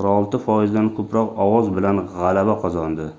46 foizdan koʻproq ovoz bilan gʻalaba qozondi